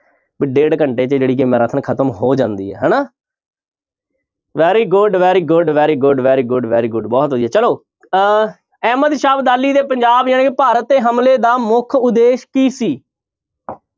ਵੀ ਡੇਢ ਘੰਟੇ 'ਚ ਖ਼ਤਮ ਹੋ ਜਾਂਦੀ ਹੈ ਹਨਾ very good, very good, very good, very good, very good ਬਹੁਤ ਵਧੀਆ ਚਲੋ ਅਹ ਅਹਿਮਦ ਸ਼ਾਹ ਅਬਦਾਲੀ ਨੇ ਪੰਜਾਬ ਜਾਣੀ ਕਿ ਭਾਰਤ ਤੇ ਹਮਲੇ ਦਾ ਮੁੱਖ ਉਦੇਸ਼ ਕੀ ਸੀ